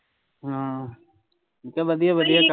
ਹਾਂ ਕਹਿ ਵਧੀਆ ਵਧੀਆ